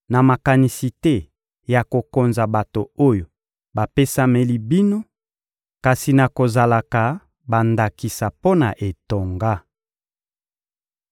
na makanisi te ya kokonza bato oyo bapesameli bino, kasi na kozalaka bandakisa mpo na etonga.